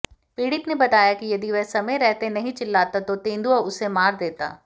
पीडि़त ने बताया कि यदि वह समय रहते नहीं चिल्लाता तो तेंदुआ उसे मार देता